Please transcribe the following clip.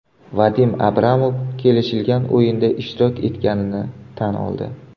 Vadim Abramov kelishilgan o‘yinda ishtirok etganini tan oldi.